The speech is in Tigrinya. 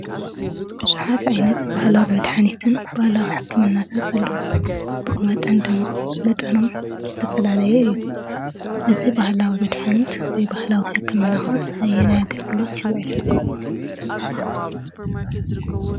ቡዙሓት ዓይነት ባህላዊ መድሓኒትን ባህላዊ ሕክምናን ኣለዉ። ብኡ መጠን ድማ መጠኖም ዝተፈላለየ እዩ። እዚ ባህላዊ መድሓኒት ወይ ባህላዊ ሕክምና ኸ ነየናይ ኣገልግሎት ይውዕል ?